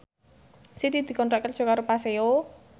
Siti dikontrak kerja karo Paseo